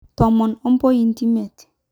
Tomon ompointi miet.